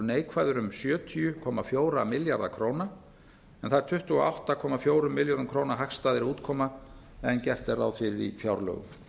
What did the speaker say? neikvæður um sjötíu komma fjóra milljarða króna en það er tuttugu og átta komma fjórum milljörðum króna hagstæðari afkoma gert var ráð fyrir í fjárlögum